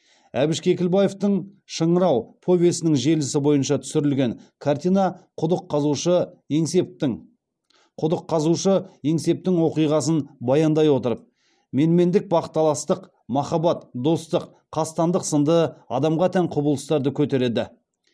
әбіш кекілбаевтың шыңырау повесінің желісі бойынша түсірілген картина құдық қазушы еңсептің оқиғасын баяндай отырып менмендік бақталастық махаббат достық қастандық сынды адамға тән құбылыстарды көтереді